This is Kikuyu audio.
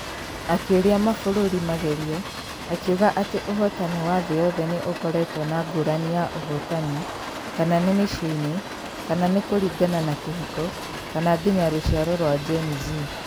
Akĩũria mabũrũri magerio, akiuga atĩ ũhotani wa thĩ yothe nĩ ũkoretwo na ngũrani ya ũhotani, kana nĩ mĩciĩ-inĩ, kana nĩ kũringana na kĩhiko, kana nginya rũciaro rwa Geni Z.